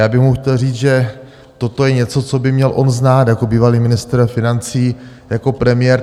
Já bych mu chtěl říct, že toto je něco, co by měl on znát jako bývalý ministr financí, jako premiér.